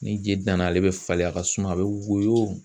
Ni je danna ale bɛ falen a ka suma a bɛ woyo